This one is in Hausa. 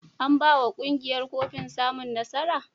An ba wa ƙungiyar kofin samun nasara?